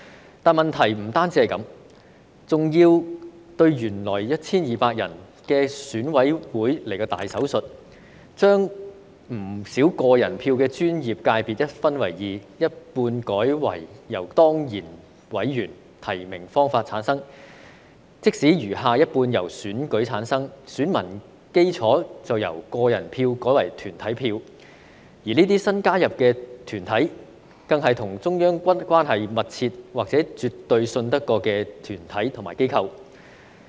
不過，問題不單是這樣，還要對原來 1,200 人的選委會來個"大手術"，將不少個人票的專業界別分組一分為二，一半改為由當然委員或提名的方法產生，餘下一半則由選舉產生，但選民基礎就由個人票改為團體票，而這些新加入的團體，更是與中央關係密切或是絕對可信任的團體和機構。